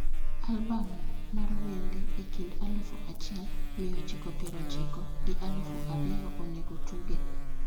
albam mar wende e kind aluf achiel mia ochiko pier ochiko gi aluf ariyo onego otuge